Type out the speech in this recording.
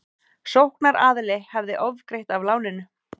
Sóknaraðili hefði ofgreitt af láninu